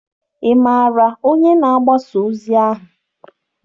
Ị maara onye na-agbasa ozi ahụ?